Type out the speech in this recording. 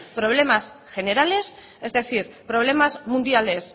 problemas generales es decir problemas mundiales